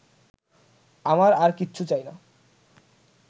আমার আর কিচ্ছু চাই না